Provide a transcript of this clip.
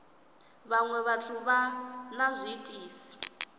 vhaṅwe vhathu vha na zwiitisi